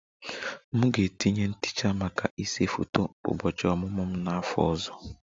M ga-etinye ntecha maka ịse foto ụbọchị ọmụmụ m n'afọ ọzọ